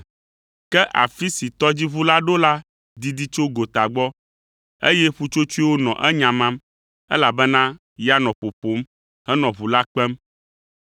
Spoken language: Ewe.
ke afi si tɔdziʋu la ɖo la didi tso gota gbɔ, eye ƒutsotsoewo nɔ enyamam, elabena ya nɔ ƒoƒom henɔ ʋu la kpem.